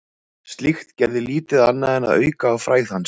Slíkt gerði lítið annað en að auka á frægð hans.